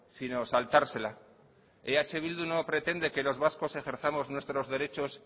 sino saltársela eh bildu no pretende que los vascos ejerzamos nuestros derechos